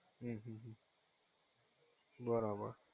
હમ્મ હમ્મ હમ્મ બરાબર